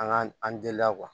An ka an denya